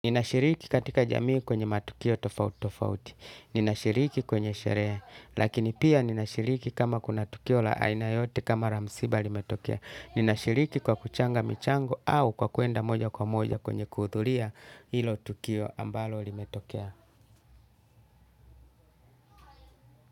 Ninashiriki katika jamii kwenye matukio tofauti tofauti, ninashiriki kwenye sherehe, lakini pia ninashiriki kama kuna tukio la aina yote kama la msiba limetokea, ninashiriki kwa kuchanga michango au kwa kwenda moja kwa moja kwenye kuudhuria ilo tukio ambalo limetokea.